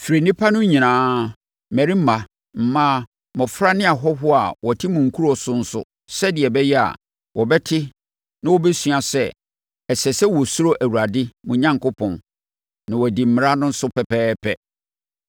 Frɛ nnipa no nyinaa, mmarima, mmaa, mmɔfra ne ahɔhoɔ a wɔte mo nkuro so nso sɛdeɛ ɛbɛyɛ a, wɔbɛte na wɔbɛsua sɛ, ɛsɛ sɛ wɔsuro Awurade, mo Onyankopɔn, na wɔbɛdi mmara no so pɛpɛɛpɛ,